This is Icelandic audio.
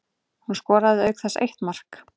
Hún skoraði auk þess eitt mark